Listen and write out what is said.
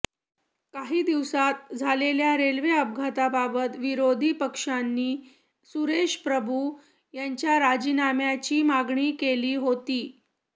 काही दिवसात झालेल्या रेल्वे अपघाताबाबत विरोधी पक्षांनी सुरेश प्रभु यांच्या राजीनाम्याची मागणी केली होती